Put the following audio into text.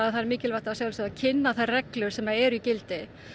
það er mikilvægt að kynna þær reglur sem eru í gildi